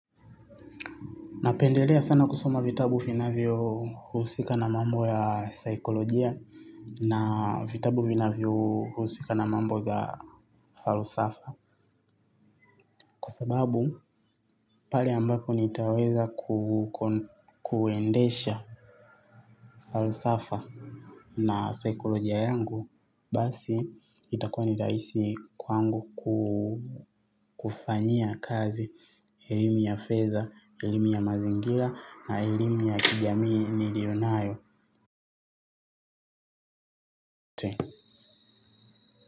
Napendelea sana kusoma vitabu vinavyo husika na mambo ya saikolojia. Na vitabu vinavyo husika na mambo za falosafa. Kwa sababu pale ambapo nitaweza kuwendesha falisafa na saikolojia yangu basi, itakua niraisi, kwangu kufanyia kazi. Ilimi yafFedha, ilimi ya mazingira na ilimi ya kijamii nilionayo.